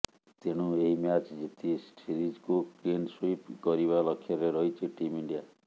ତେଣୁ ଏହି ମ୍ୟାଚ୍ ଜିତି ସିରିଜକୁ କ୍ଲିନ୍ ସୁଇପ୍ କରିବା ଲକ୍ଷ୍ୟରେ ରହିଛି ଟିମ୍ ଇଣ୍ଡିଆ